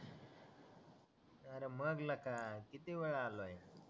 अरे मग लका किती वेळा आलोय